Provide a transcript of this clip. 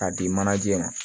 K'a di manaje ma